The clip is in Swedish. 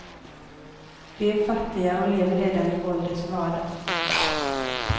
De är fattiga och lever redan i våldets vardag.